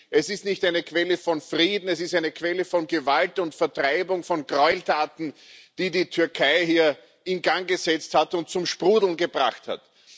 Es ist nicht eine Quelle von Frieden, es ist eine Quelle von Gewalt und Vertreibung, von Gräueltaten, die die Türkei hier in Gang gesetzt und zum Sprudeln gebracht hat.